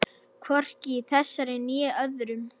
Hvorki í þessari né öðrum.